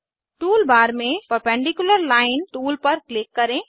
tool bar में perpendicular line tool पर click करें